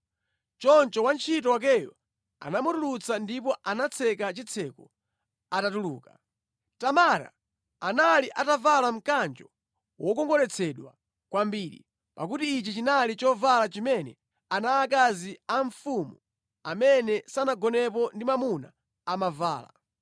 Choncho wantchito wakeyo anamutulutsa ndipo anatseka chitseko atatuluka. Tamara anali atavala mkanjo wokongoletsedwa kwambiri, pakuti ichi chinali chovala chimene ana aakazi a mfumu amene sanagonepo ndi mwamuna amavala.